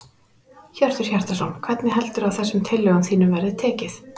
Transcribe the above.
Hjörtur Hjartarson: Hvernig heldurðu að þessum tillögum þínum verði tekið?